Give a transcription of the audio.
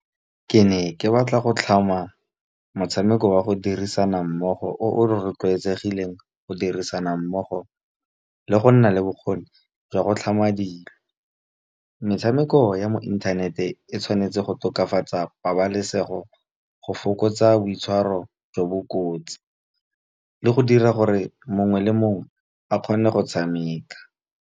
Ke ne ke batla go tlhama motshameko wa go dirisana mmogo o rotloetsegileng go dirisana mmogo le go nna le bokgoni jwa go tlhama dilo. Metshameko ya mo inthanete e tshwanetse go tokafatsa pabalesego, go fokotsa boitshwaro jo bo kotsi, le go dira gore mongwe le mongwe a kgone go tshameka.